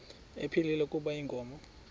ephilile kuba inkomo